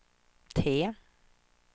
T